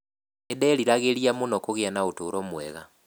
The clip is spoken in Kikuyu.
Nĩderiragĩria mũno kũgĩa na ũtũũro mwega.